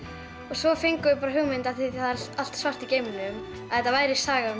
svo fengum við bara hugmynd af því það er allt svart í geimnum að þetta væri saga um